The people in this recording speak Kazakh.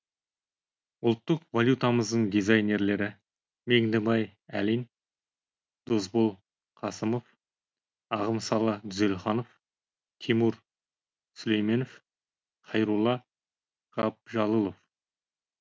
ұлттық валютамыздың дизайнерлері меңдібай әлин досбол қасымов ағымсалы дүзелханов тимур сүлейменов хайрулла ғабжалылов